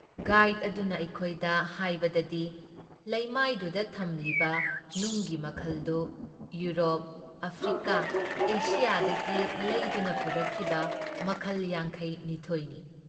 Guide ꯑꯗꯨꯅ ꯑꯩꯈꯣꯏꯗ ꯍꯥꯏꯕꯗꯤ ꯂꯩꯃꯥꯏꯗꯨꯗ ꯊꯝꯂꯤꯕ ꯅꯨꯡꯒꯤ ꯃꯈꯜꯗꯨ ꯏꯌꯨꯔꯣꯞ, ꯑꯥꯐ꯭ꯔꯤꯀꯥ, ꯑꯦꯁꯤꯌꯥꯗꯒꯤ ꯂꯩꯗꯨꯅ ꯄꯨꯔꯛꯈꯤꯕ ꯃꯈꯜ ꯌꯥꯡꯈꯩ ꯅꯤꯊꯣꯏ ꯅꯤ ꯫